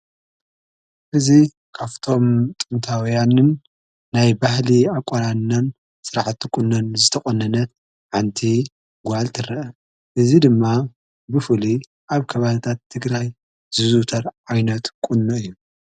እዚ ካፍቶም ጥንታውያንን ናይ ባህሊ ኣቋናንናን ስርዓቲ ቊነን ዝተቖነነት ሓንቲ ጓል ትርአ። እዙ ድማ ብፉሊ ኣብ ከባብታት ትግራይ ዝዙውተር ኣይነት ቅኖ እዩ።